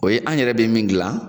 O ye an yɛrɛ bɛ min dilan